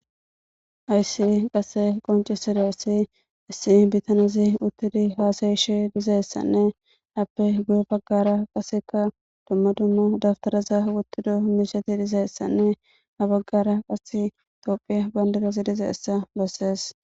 aysi qasse qonci sidiyarsi issi bitanazi uttidi haasayishi dizaessanne appe guye baggara qaseka dumma dumma dabtaraza wottido miisheti dizayessanne ha baggara qase tophie bayndirezi dize essa loossees